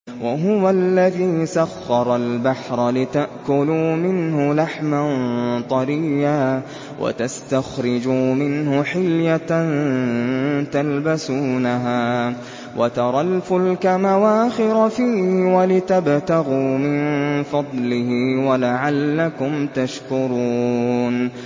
وَهُوَ الَّذِي سَخَّرَ الْبَحْرَ لِتَأْكُلُوا مِنْهُ لَحْمًا طَرِيًّا وَتَسْتَخْرِجُوا مِنْهُ حِلْيَةً تَلْبَسُونَهَا وَتَرَى الْفُلْكَ مَوَاخِرَ فِيهِ وَلِتَبْتَغُوا مِن فَضْلِهِ وَلَعَلَّكُمْ تَشْكُرُونَ